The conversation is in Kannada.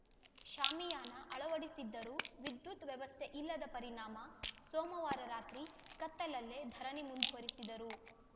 ಶಾಮಿಯಾನ ಅಳವಡಿಸಿದ್ದರೂ ವಿದ್ಯುತ್‌ ವ್ಯವಸ್ಥೆ ಇಲ್ಲದ ಪರಿಣಾಮ ಸೋಮಮವಾರ ರಾತ್ರಿ ಕತ್ತಲಲ್ಲೇ ಧರಣಿ ಮುಂದುವರಿಸಿದರು